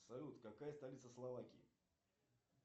салют какая столица словакии